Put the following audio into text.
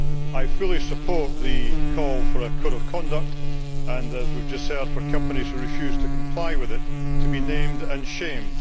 I fully support the call for a code of conduct, and as we have just heard, for companies who refuse to comply with it to be named and shamed.